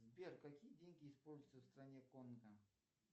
сбер какие деньги используются в стране конго